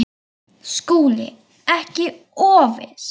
SKÚLI: Ekki of viss!